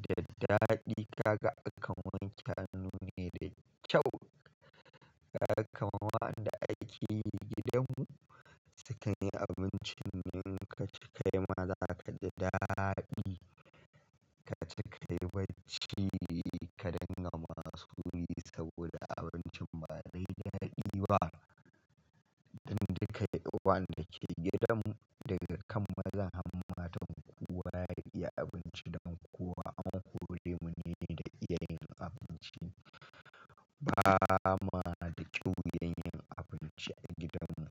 da daɗi kaga akan wanke hannu ne da kyau. Kaga waɗanda ake yi gidanmu sukan yi abincin ne in ka ci kaima zaka ji daɗi. Ka ci ka yi bacci ka danganta masu kuɗi saboda abincin ba dai daɗi ba. Dan duka wa yanda ke gidanmu daga kan mazan har matan kowa ya iya abinci, dan kowa an hore mu ne daga iya yin abinci. Ba ma da kyau yin abinci a gidanmu.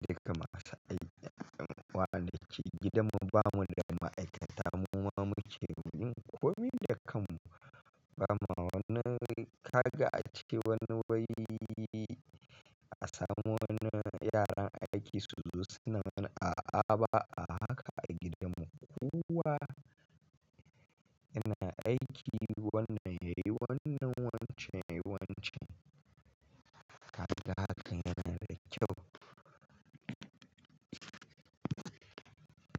Daga masu aiki a kan waɗanda ke gidanmu bamu da ma'aikata muma muke yin komi da kanmu. Bama wani kaga a cike wani wai a samu wani yaran aiki su zo suna mana a'a ba, a haka a gidanmu. Kowa yana aiki wannan yayi wannan, wancen yayi wancan. Kaga hakan yana da kyau.